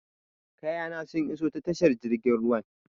Kayana sun iso ta tashar jirgin ruwan.